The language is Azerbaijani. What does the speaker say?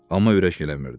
Amma ürək eləmirdi.